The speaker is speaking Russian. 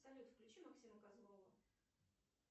салют включи максима козлова